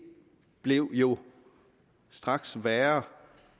blev jo straks værre